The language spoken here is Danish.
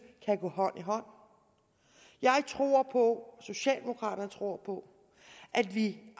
kan gå hånd i hånd jeg tror på socialdemokraterne tror på at vi